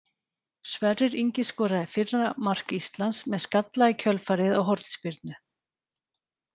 Sverrir Ingi skoraði fyrra mark Íslands með skalla í kjölfarið á hornspyrnu.